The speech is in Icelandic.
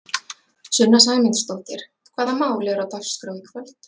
Sunna Sæmundsdóttir: Hvaða mál eru á dagskrá í kvöld?